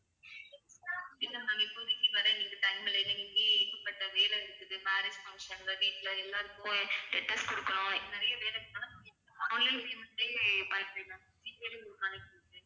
இல்ல ma'am இப்போதைக்கு வர எங்களுக்கு time இல்ல ஏன்னா எனக்கு இங்கேயே ஏகப்பட்ட வேலை இருக்குது marriage function ல வீட்ல எல்லாருக்கும் கொடுக்கணும் நிறைய வேலை இருக்கிறதுனால online payment ஏ பண்ணிக்கிறேன் ma'am G பேலயே உங்களுக்கு அனுப்பி விடுறேன்